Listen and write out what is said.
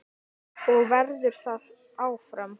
Og verður það áfram.